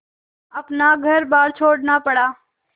अपना घरबार छोड़ना पड़ा